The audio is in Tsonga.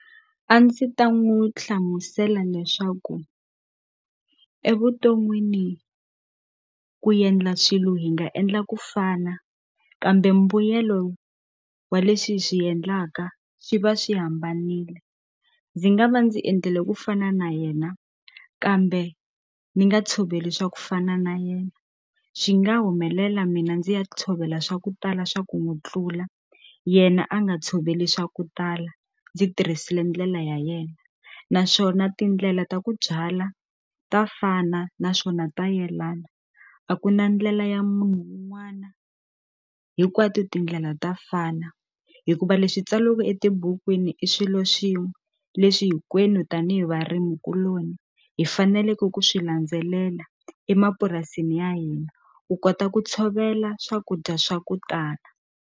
A ndzi ta n'wu hlamusela leswaku evuton'wini ku yendla swilo hi nga endla ku fana kambe mbuyelo wa leswi hi swi endlaka swi va swi hambanile ndzi nga va ndzi endlile ku fana na yena kambe ni nga tshoveli swa ku fana na yena swi nga humelela mina ndzi ya tshovela swa ku tala swa ku n'wu tlula yena a nga tshoveli swa ku tala ndzi tirhisile ndlela ya yena naswona tindlela ta ku byala ta fana naswona ta yelana a ku na ndlela ya munhu un'wana hinkwato tindlela ta fana hikuva leswi tsaliweke etibukwini i swilo swin'we leswi hinkwenu tanihi varimi kuloni hi faneleke ku swi landzelela emapurasini ya hina u kota ku tshovela swakudya swa ku tala.